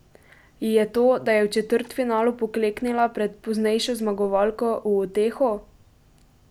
Ji je to, da je v četrtfinalu pokleknila pred poznejšo zmagovalko, v uteho?